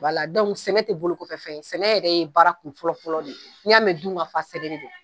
Wala dɔnku sɛnɛ te bolo kɔfɛ fɛn ye sɛnɛ yɛrɛ ye baara kun fɔlɔfɔlɔ de ye n'i y'a mɛn dun ka faa sɛnɛ de don